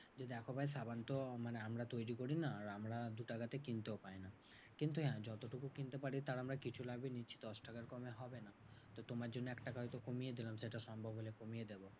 যে দেখো ভাই সাবানতো মানে আমরা তৈরী করি না। আর আমরা দুটাকা তে কিনতেও পাই না। কিন্তু হ্যাঁ যতটুকু কিনতে পারি তার আমরা কিছু লাভই নিচ্ছি দশটাকার কমে হবে না। তো তোমার জন্য একটাকা হয়তো কমিয়ে দিলাম সেটা সম্ভব হলে কমিয়ে দেব।